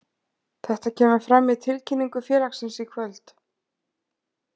Þetta kemur fram í tilkynningu félagsins í kvöld.